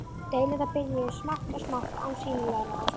Deilurnar bara byrjuðu smátt og smátt án sýnilegrar ástæðu.